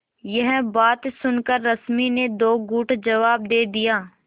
यह बात सुनकर रश्मि ने दो टूक जवाब दे दिया